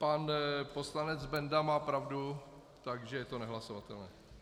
Pan poslanec Benda má pravdu, takže je to nehlasovatelné.